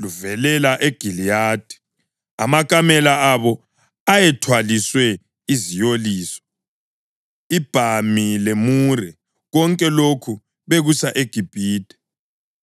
luvelela eGiliyadi. Amakamela abo ayethwaliswe iziyoliso, ibhami lemure, konke lokhu bekusa eGibhithe.